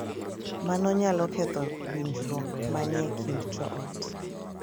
Mano nyalo ketho winjruok ma ni e kind joot,